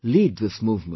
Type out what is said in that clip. Lead this movement